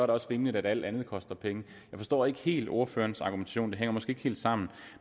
det også rimeligt at alt andet koster penge jeg forstår ikke helt ordførerens argumentation den hænger måske ikke helt sammen